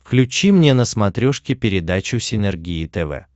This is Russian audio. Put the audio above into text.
включи мне на смотрешке передачу синергия тв